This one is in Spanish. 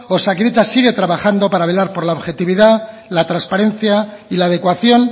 osakidetza sigue trabajando para velar por la objetividad la transparencia y la adecuación